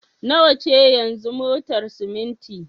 Nawa ce yanzu motar siminti?